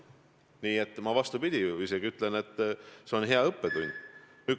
Nii et ma isegi ütlen, et see on hea õppetund.